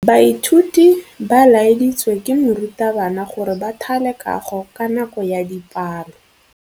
Baithuti ba laeditswe ke morutabana gore ba thale kagô ka nako ya dipalô.